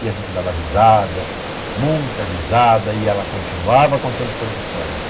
E a gente dava risada, muita risada, e ela continuava contando suas histórias.